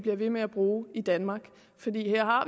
bliver ved med at bruge i danmark fordi her har